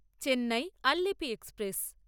Chennai Alleppey express